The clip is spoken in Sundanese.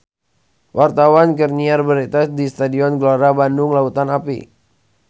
Wartawan keur nyiar berita di Stadion Gelora Bandung Lautan Api